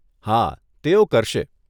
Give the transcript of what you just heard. હા, તેઓ કરશે.